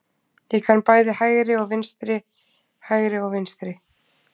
Ég kann bæði hægri og vinstri, hægri og vinstri.